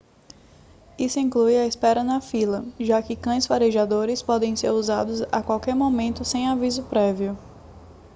isso inclui a espera na fila já que cães farejadores podem ser usados a qualquer momento sem aviso prévio